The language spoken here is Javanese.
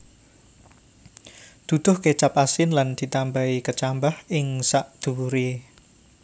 Duduh kecap asin lan ditambahi kecambah ing sadhuwure